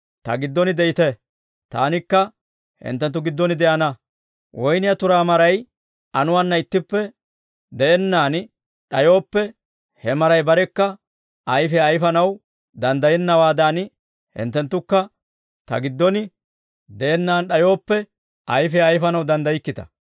Ta giddon de'ite; Taanikka hinttenttu giddon de'ana. Woynniyaa turaa maray anuwaanna ittippe de'ennaan d'ayooppe, he maray barekka ayfiyaa ayfanaw danddayennawaadan, hinttenttukka Ta giddon de'ennaan d'ayooppe, ayfiyaa ayfanaw danddaykkita.